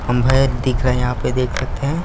हम हैदिख रहै है यहाँ पे देख सकते हैं।